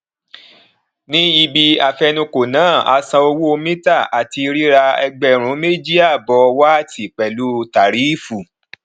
ní ibí afenukò náà a san owó mítà àti rírà ẹgbẹrún méjì àbọ wáátì pẹlú tarífù